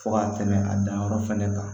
Fo ka tɛmɛ a danyɔrɔ fana kan